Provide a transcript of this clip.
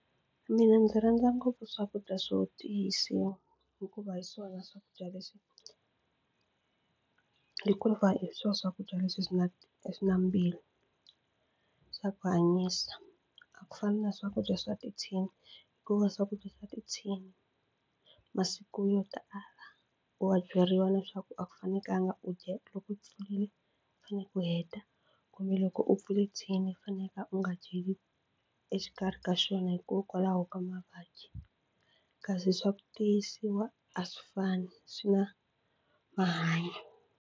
Mina ndzi rhandza ngopfu swakudya swo tiyisiwa hikuva hi swona swakudya leswi hikuva hi swona swakudya leswi swi na swi na swa ku hanyisa a ku fani na swakudya swa tithini hikuva swakudya swa tithini masiku yo tala wa byeriwa leswaku a ku fanekanga u dya u pfulile u faneke u heta kumbe loko u pfule thini u faneke u nga dyeli exikarhi ka xona hikokwalaho ka mavabyi kasi swa ku tiyisiwa a swi fani swi na .